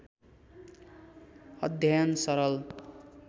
अध्ययन सरल